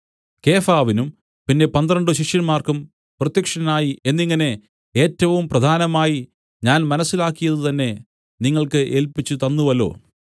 കേഫാവിനും പിന്നെ പന്ത്രണ്ട് പേർക്കും പ്രത്യക്ഷനായി എന്നിങ്ങനെ ഏറ്റവും പ്രധാനമായി ഞാൻ മനസ്സിലാക്കിയതുതന്നെ നിങ്ങൾക്ക് ഏല്പിച്ചുതന്നുവല്ലോ